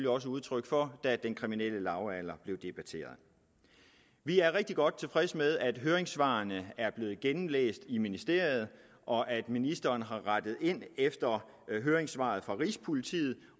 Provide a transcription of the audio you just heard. også udtryk for da den kriminelle lavalder blev debatteret vi er rigtig godt tilfredse med at høringssvarene er blevet gennemlæst i ministeriet og at ministeren har rettet ind efter høringssvaret fra rigspolitiet